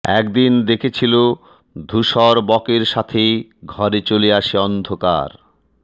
একদিন দেখেছিল ধূসর বকের সাথে ঘরে চলে আসে অন্ধকার